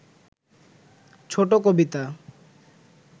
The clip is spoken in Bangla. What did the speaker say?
ছোট কবিতা